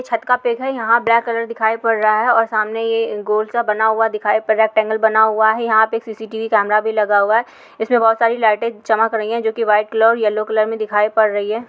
छत का पिक है। यहाँ ब्लैक कलर दिखाई पड़ रहा है और सामने ये गोल सा बना हुआ दिखाई पड़ रहा है। पैनल बना हुआ है। यहाँ पे एक सीसीटीवी कैमरा भी लगा हुआ है इसमें बहुत सारी लाइटें चमक रही हैं जो कि वाइट कलर और येलो कलर में दिखाई पड़ रही है।